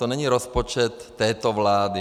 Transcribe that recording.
To není rozpočet této vlády.